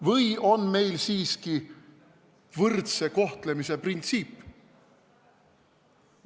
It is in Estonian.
Või on meil siiski võrdse kohtlemise printsiip?